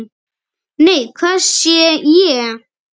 Nei, hvað sé ég?